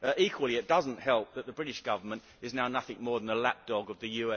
Equally it does not help that the British Government is now nothing more than a lapdog of the